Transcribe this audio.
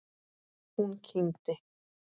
Hún kímdi.